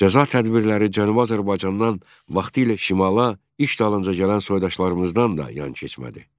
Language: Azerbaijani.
Cəza tədbirləri Cənubi Azərbaycandan vaxtilə şimala iş dalınca gələn soydaşlarımızdan da yan keçmədi.